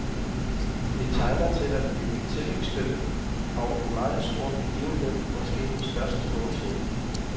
Det tegner til at blive et tilløbsstykke og en meget stor begivenhed, måske den største nogensinde.